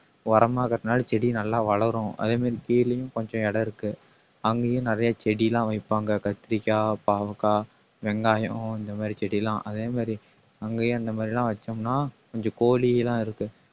உரமா இருக்கறதுனால செடி நல்லா வளரும் அதே மாதிரி கீழயும் கொஞ்சம் இடம் இருக்கு அங்கயும் நிறைய செடி எல்லாம் வைப்பாங்க கத்திரிக்காய், பாவக்காய், வெங்காயம் இந்த மாதிரி செடியெல்லாம் அதே மாதிரி அங்கேயும் அந்த மாதிரி எல்லாம் வச்சோம்ன்னா கொஞ்சம் கோழி எல்லாம் இருக்கு